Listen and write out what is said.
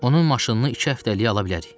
Onun maşınını iki həftəliyə ala bilərik.